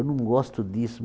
Eu não gosto disso.